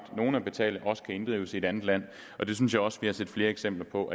nogle at betale også kan inddrives i et andet land og det synes jeg også vi har set flere eksempler på